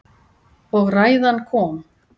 Og ræðan kom.